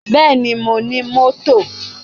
Bẹ́ẹ̀ni, Mo ní mọ́tò.